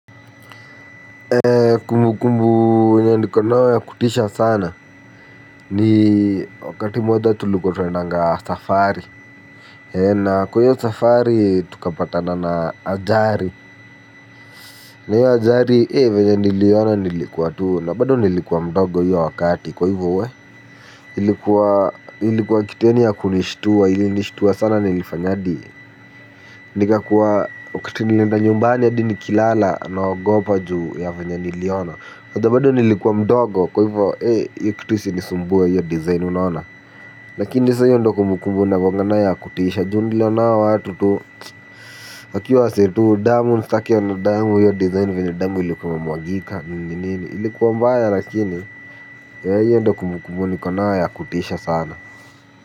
Ee kumbukumbu wenye niko nao ya kutisha sana ni wakati moja tulikuwa tunaendanga safari ee na kwa iyo safari tukapatana na ajali na hiyo ajali ee vyenye niliona nilikuwa tuu na bado nilikuwa mdogo hiyo wakati kwa hivyo weh ilikuwa ilikuwa kitu yaani ya kunishtua ilinishitua sana nilifanya hadi nikakuwa wakati nilienda nyumbani hadi nikilala naogopa juu ya venye niliona unajua bado nilikuwa mdogo kwa hivo eh iyo kitu isinisumbue iyo design unaona. Lakini sasa iyo ndo kumbukumbu nakuanga nayo ya kutisha juu niliona hao watu tu wakiwa wasee tu damu usitake kuona damu iyo design vyenye damu ilikuwa mwagika nini nini ilikuwa mbaya lakini eh hiyo ndio kumbukumbu niko nayo ya kutisha sana.